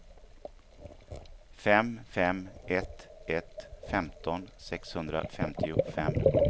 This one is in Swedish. fem fem ett ett femton sexhundrafemtiofem